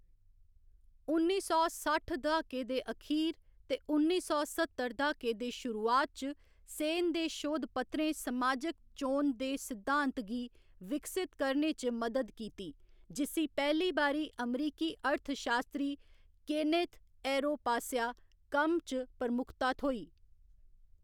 उन्नी सौ सट्ठ द्हाके दे अखीर ते उन्नी सौ सत्तर द्हाके दी शुरुआत च सेन दे शोधपत्रें समाजिक चोन दे सिद्धांत गी विकसत करने च मदद कीती, जिस्सी पैह्‌ली बारी अमरीकी अर्थशास्त्री, केनेथ एरो पासेआ कम्म च प्रमुखता थ्होई।